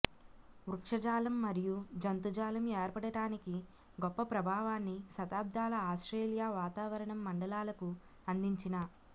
వృక్షజాలం మరియు జంతుజాలం ఏర్పడటానికి గొప్ప ప్రభావాన్ని శతాబ్దాల ఆస్ట్రేలియా వాతావరణం మండలాలకు అందించిన